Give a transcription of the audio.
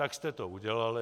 Tak jste to udělali.